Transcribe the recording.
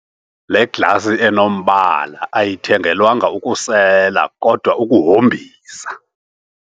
Le glasi enombala ayithengelwanga ukusela kodwa ukuhombisa.